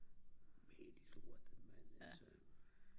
mal lortet altså